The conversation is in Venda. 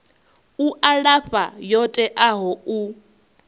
u alafha yo teaho u